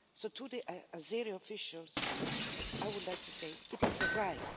To the Azeri officials, I would like to say that it is a right.